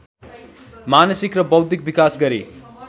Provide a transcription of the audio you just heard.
मानसिक र बौद्धिक विकास गरी